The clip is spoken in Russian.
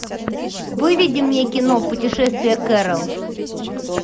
выведи мне кино путешествие кэрол